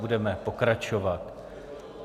Budeme pokračovat.